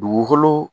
Dugukolo